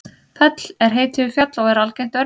fell er heiti yfir fjall og er algengt örnefni